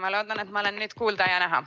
Ma loodan, et ma olen nüüd kuulda ja näha.